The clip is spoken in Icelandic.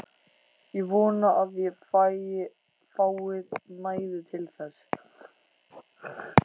Ég vona að ég fái næði til þess.